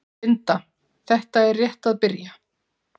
Linda: Þetta er rétt að byrja?